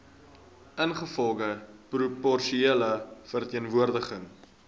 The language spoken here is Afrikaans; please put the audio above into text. ingevolge proporsionele verteenwoordiging